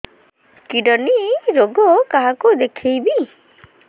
kidney ରୋଗ କାହାକୁ ଦେଖେଇବି